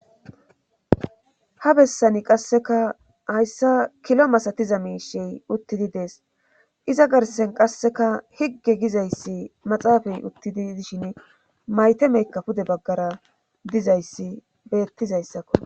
ha bessani qasseka hayssa kilo masatiza miishi uttidi dees iza garsen qasseka higge gizayssi maxaafey uttidi dishin maytemekka pude baggara dizayssi beettizayssakko.